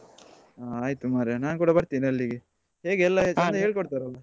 ಹಾ ಆಯ್ತು ಮಾರಾಯ ನಾನ್ ಕೂಡ ಬರ್ತೇನೆ ಅಲ್ಲಿಗೆ ಹೇಗೆ ಎಲ್ಲ ಚಂದ ಹೇಳಿ ಕೊಡ್ತಾರಲ್ಲಾ?